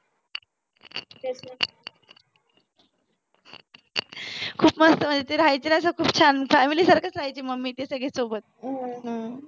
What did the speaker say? खूप मस्त म्हणजे ते राहायचे ना खूप छान family सारखच राहायचे मम्मी ते सोबत हम्म